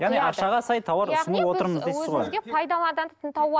яғни ақшаға сай тауар ұсынып отырмыз дейсіз ғой өзіңізге пайдаланатын